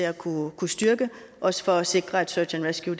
at kunne kunne styrke også for at sikre at search and rescue